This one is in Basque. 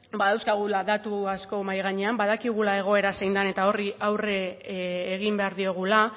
badauzkagula datu asko mahai gainean badakigula egoera zein den eta horri aurre egin behar diogula